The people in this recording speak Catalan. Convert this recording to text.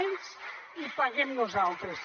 ells i paguem nosaltres